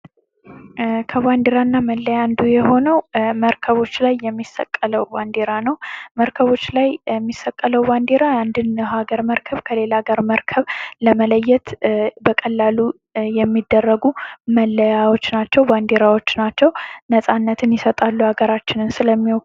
ከባንዴራና መለያ አንዱ የሆነው መርከቦች ላይ የሚሰቀለው ባንዴራ ነው መርከቦች ላይ የሚሰቀለው ባንዲራ የአንድን ሀገር መርከብ ከሌላ ሀገር መርከብ ለመለየት በቀላሉ የሚደረጉ መለያዎች ናቸው ባንዴራች ናቸው ነፃነታችንን ይሰጣሉ ሀገራችንን ስለሚወክሉ።